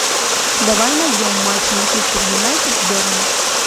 давай найдем матч манчестер юнайтед с бернли